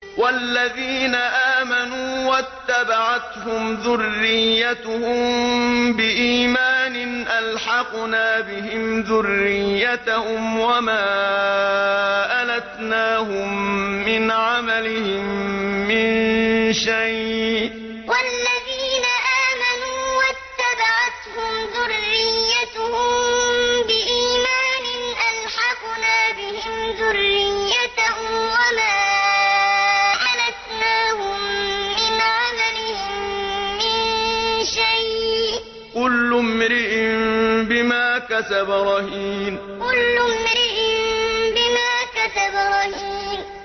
وَالَّذِينَ آمَنُوا وَاتَّبَعَتْهُمْ ذُرِّيَّتُهُم بِإِيمَانٍ أَلْحَقْنَا بِهِمْ ذُرِّيَّتَهُمْ وَمَا أَلَتْنَاهُم مِّنْ عَمَلِهِم مِّن شَيْءٍ ۚ كُلُّ امْرِئٍ بِمَا كَسَبَ رَهِينٌ وَالَّذِينَ آمَنُوا وَاتَّبَعَتْهُمْ ذُرِّيَّتُهُم بِإِيمَانٍ أَلْحَقْنَا بِهِمْ ذُرِّيَّتَهُمْ وَمَا أَلَتْنَاهُم مِّنْ عَمَلِهِم مِّن شَيْءٍ ۚ كُلُّ امْرِئٍ بِمَا كَسَبَ رَهِينٌ